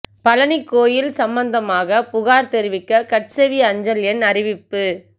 பழனி கோயில் சம்பந்தமாக புகாா் தெரிவிக்க கட்செவி அஞ்சல் எண் அறிவிப்பு